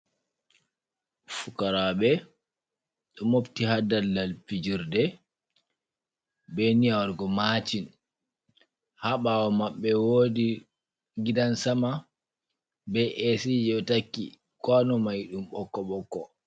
Fukaraaɓe ɗo mobti ha daldal pijirde, be niyya waɗugo maacin. Ha ɓaawo maɓɓe woodi gidan sama, be A.C ji ɗo takki, kwaano mai ɗum ɓokko-ɓokko.